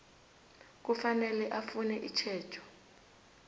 kufanele afune itjhejo